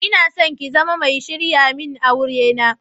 Inason ki zama mai sharyamin aure na.